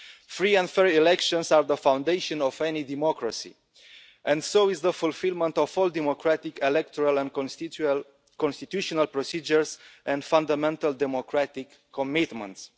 Free and fair elections are the foundation of any democracy and so is the fulfilment of all democratic electoral and constitutional procedures and fundamental democratic commitments.